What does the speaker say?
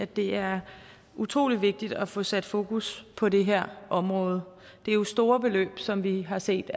det er utrolig vigtigt at få sat fokus på det her område det er jo store beløb som vi har set